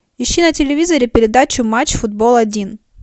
ищи на телевизоре передачу матч футбол один